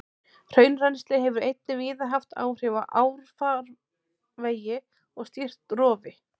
Hraunrennsli hefur einnig víða haft áhrif á árfarvegi og stýrt rofi.